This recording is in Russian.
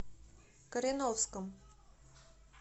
кореновском